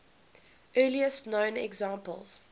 earliest known examples